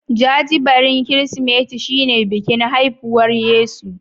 Jajibirin Kirsimeti shine bikin haifuwar Yesu.